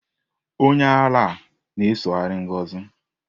Onye ara a na-esoghari Ngozi.